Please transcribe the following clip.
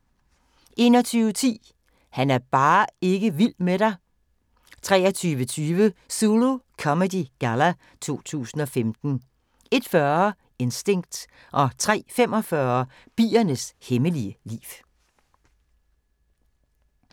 21:10: Han er bare ikke vild med dig 23:20: Zulu Comedy Galla 2015 01:40: Instinct 03:45: Biernes hemmelige liv